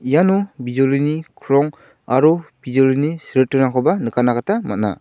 iano bijolini krong aro bijolini silritingrangkoba nikatna gita man·a.